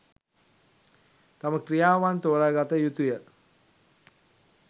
තම ක්‍රියාවන් තෝරාගත යුතු ය.